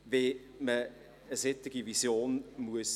Dies kann man den Visionen entnehmen.